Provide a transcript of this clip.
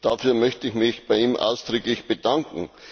Dafür möchte ich mich bei ihm ausdrücklich bedanken.